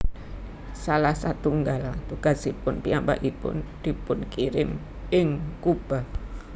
Salah satunggal tugasipun piyambakipun dipunkirim ing Kuba